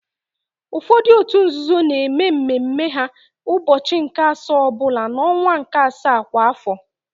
Ụfọdụ òtù nzuzo na-eme mme mme ha ụbọchị nke asaa ọ bụla n'ọnwa nke asaa kwa afọ.